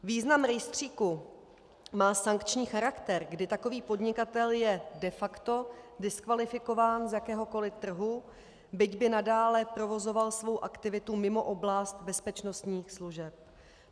Význam rejstříku má sankční charakter, kdy takový podnikatel je de facto diskvalifikován z jakéhokoli trhu, byť by nadále provozoval svou aktivitu mimo oblast bezpečnostních služeb.